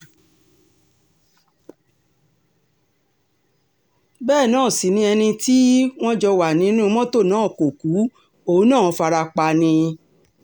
bẹ́ẹ̀ náà sì ni ẹni tí um wọ́n jọ wà nínú mọ́tò náà kò ku òun náà farapa ni um